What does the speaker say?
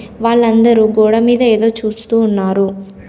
వాళ్లందరూ గోడ మీద ఏదో చూస్తూ ఉన్నారు.